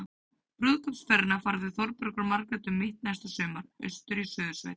Brúðkaupsferðina fara þau Þórbergur og Margrét um mitt næsta sumar- austur í Suðursveit.